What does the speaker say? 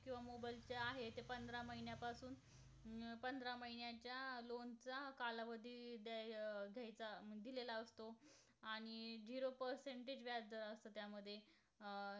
अं